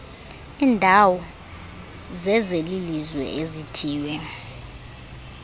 iindawo zezelizwe ezithiywe